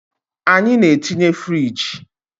Anyị na-etinye firigi